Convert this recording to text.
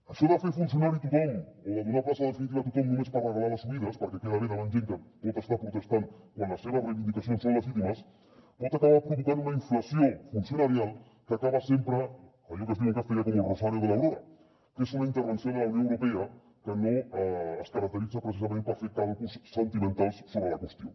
això de fer funcionari tothom o de donar plaça definitiva a tothom només per regalar les oïdes perquè queda bé davant gent que pot estar protestant quan les seves reivindicacions són legítimes pot acabar provocant una inflació funcionarial que acaba sempre allò que es diu en castellà como el rosario de la aurora que és una intervenció de la unió europea que no es caracteritza precisament per fer càlculs sentimentals sobre la qüestió